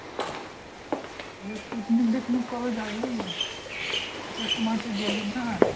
আরে picnic টিকনিক কবে যাবি? শীতের সময় তো গেলি না।